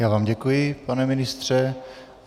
Já vám děkuji, pane ministře.